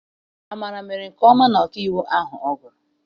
Amara mere nke ọma na ọkaiwu ahụ ọ gụrụ.